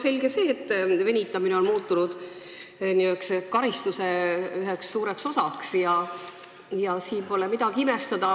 Selge see, et venitamine on muutunud karistuse üheks suureks osaks, ja siin pole midagi imestada.